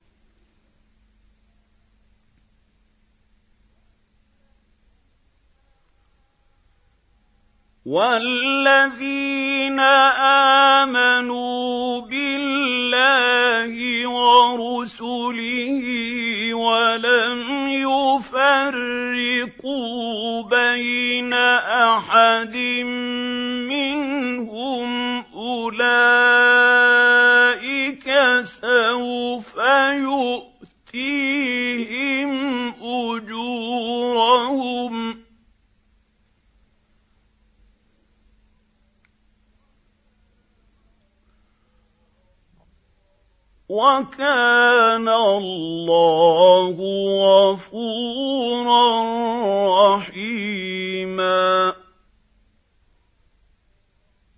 وَالَّذِينَ آمَنُوا بِاللَّهِ وَرُسُلِهِ وَلَمْ يُفَرِّقُوا بَيْنَ أَحَدٍ مِّنْهُمْ أُولَٰئِكَ سَوْفَ يُؤْتِيهِمْ أُجُورَهُمْ ۗ وَكَانَ اللَّهُ غَفُورًا رَّحِيمًا